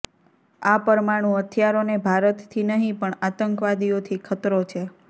આ પરમાણુ હથિયારોને ભારતથી નહીં પણ આતંકવાદીઓથી ખતરો છે